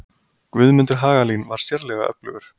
Guðmundur Hagalín var sérlega öflugur.